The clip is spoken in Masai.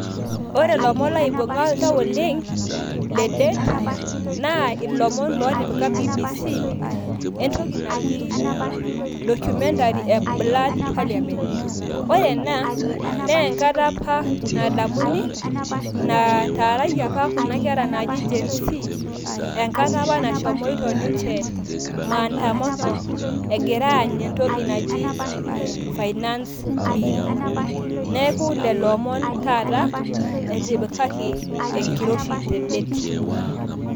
ore ilomon laibunga oltau oleng le det naa ilomon lotipika BBC entoki naji documentary e blood parliament. ore ena naa enkata apa nadamuni nataaraki apa kuna kera naji Genz enkata apa nashomoito ninche maandamano egira aany entoki naji finance bill neeku lelo omon taata etipikaki enkiroshi te det.